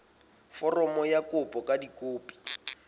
foromo ya kopo ka dikopi